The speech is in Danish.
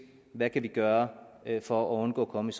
hvad vi kan gøre for at undgå at komme